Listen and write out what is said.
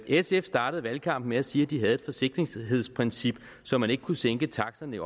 sf startede valgkampen med at sige at de havde et forsigtighedsprincip så man ikke kunne sænke taksterne i